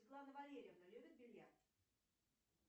светлана валерьевна любит бильярд